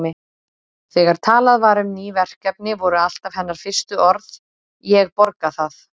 Þegar talað var um ný verkefni voru alltaf hennar fyrstu orð: Ég borga það